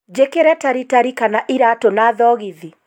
njikire taritari kana iraatu na thogithi